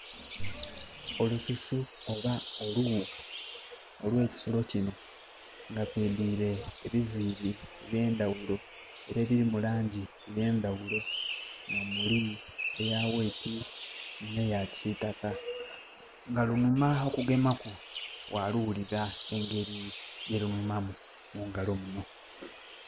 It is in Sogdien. Olususu oba oluwu olwe kisolo kino nga lwidwire ebiviri byendawulo era elirimu langi y' endawulo ga nomuli eya wayiti neya kisitaka nga lunhuma okugemaku waluwulira engeri yerunhumamu mungalo muno